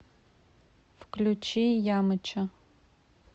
включи ямыча